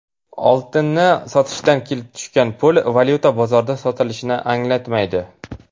Oltinni sotishdan kelib tushgan pul valyuta bozorida sotilishini anglatmaydi.